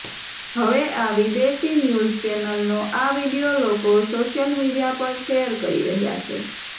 હવે આ વિદેશી ન્યૂઝ ચેનલનો આ વીડિયો લોકો સોશિયલ મીડિયા પર શેયર કરી રહ્યા છે